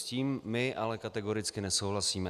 S tím my ale kategoricky nesouhlasíme.